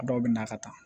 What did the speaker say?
A dɔw bɛ na ka taa